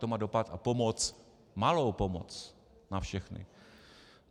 To má dopad a pomoc, malou pomoc, na všechny.